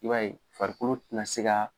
I b'a ye farikolo tɛna se ka